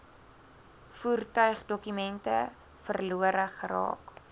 voertuigdokumente verlore geraak